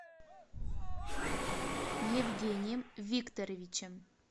евгением викторовичем